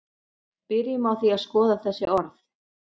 byrjum á því að skoða þessi orð